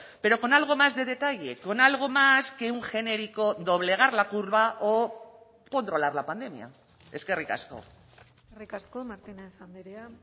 pero con algo más de detalle con algo más que un genérico doblegar la curva o controlar la pandemia eskerrik asko eskerrik asko martínez andrea